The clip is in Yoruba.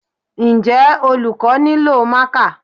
Njẹ́ olùkọ́ nílò marker?